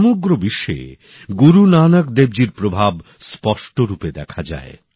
সমগ্র বিশ্বে গুরু নানাক দেবজির প্রভাব স্পষ্টরূপে দেখা যায়